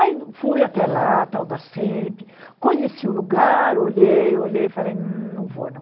Aí fui até lá, tal da semp, conheci o lugar, olhei, olhei, falei, humm não vou não.